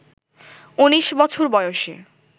১৯ বছর বয়সে